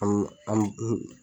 An